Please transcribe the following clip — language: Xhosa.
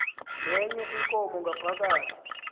nenye inkomo ngaphakathi